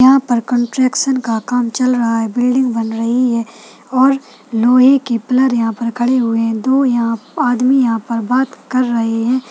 यहाँ पर कन्ट्रैक्शन का काम चल रहा है बिल्डिंग बन रही है और लोहे की पिलर यहाँ पर खड़ी हुई हैं दो यहाँ आदमी यहाँ पर बात कर रहे है।